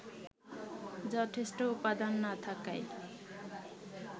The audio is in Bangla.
যথেষ্ট উপাদান না থাকায়